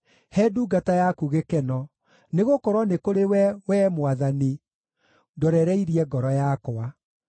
He ndungata yaku gĩkeno, nĩgũkorwo nĩ kũrĩ we, Wee Mwathani, ndorereirie ngoro yakwa.